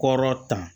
Kɔrɔ ta